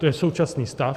To je současný stav.